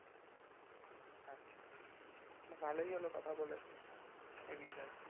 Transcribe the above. ভালোই হলো কথা বলে এই বিষয়ে